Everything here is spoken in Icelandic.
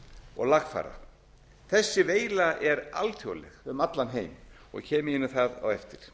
og lagfæra þessi veila er alþjóðleg um allan heim kem ég inn á það á eftir